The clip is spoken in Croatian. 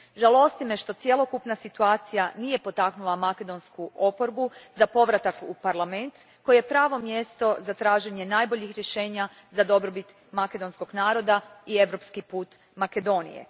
Žalosti me što cjelokupna situacija nije potaknula makedonsku oporbu na povratak u Parlament koji je pravo mjesto za traženje najboljih rješenja za dobrobit makedonskog naroda i europski put Makedonije.